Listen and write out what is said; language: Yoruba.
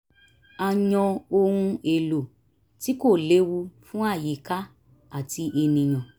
a yan ohun èlò tí kò lewu fún àyíká àti ènìyàn